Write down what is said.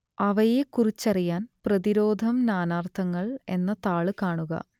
അവയെക്കുറിച്ചറിയാൻ പ്രതിരോധം നാനാർത്ഥങ്ങൾ എന്ന താൾ കാണുക